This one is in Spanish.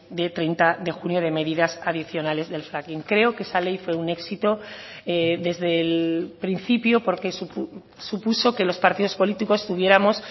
de treinta de junio de medidas adicionales del fracking creo que esa ley fue un éxito desde el principio porque supuso que los partidos políticos tuviéramos